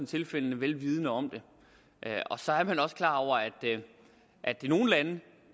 tilfældene vel vidende om det og så er man også klar over at at i nogle lande